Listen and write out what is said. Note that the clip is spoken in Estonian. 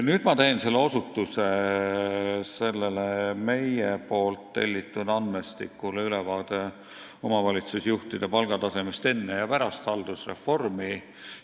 Nüüd ma teen osutuse sellele meie tellitud andmestikule "Ülevaade omavalitsusjuhtide palgatasemest enne ja pärast haldusreformi".